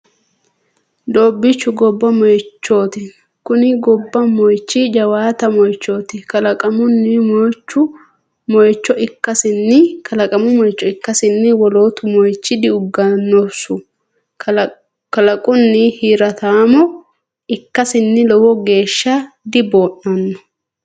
Doobichu gobba moichoti kuni gobba moichi jawaatta moichoti wolqattamo moicho ikkasinni wolootu moichi diuganosu kalaqunnu hirattammo ikkasinni lowo geeshsha dibo'nano.